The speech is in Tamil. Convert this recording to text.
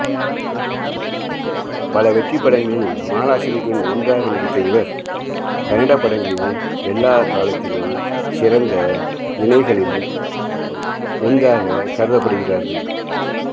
பல வெற்றிப் படங்களில் மாலாஸ்ரீயுடன் ஒன்றாக நடித்த இவர் கன்னட படங்களின் எல்லா காலத்திலும் சிறந்த இணைகளில் ஒன்றாக கருதப்படுகிறார்கள்